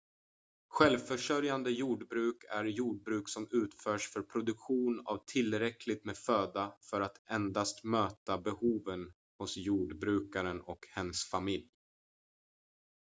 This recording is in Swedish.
självförsörjande jordbruk är jordbruk som utförs för produktion av tillräckligt med föda för att endast möta behoven hos jordbrukaren och hens familj